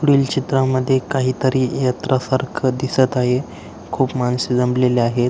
पुढील चित्रा मध्ये काही तरी यात्रा सारख दिसत आहे खूप मानस जमलेली आहे.